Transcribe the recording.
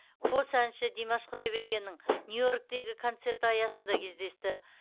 қос әнші димаш құдайбергеннің нью йорктегі концерті аясында кездесті